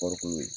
Kɔɔriko